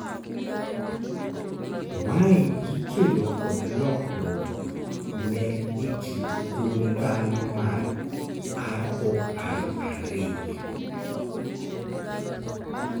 mae ikelo kod lokruok ne kit gund dhano mar ROR2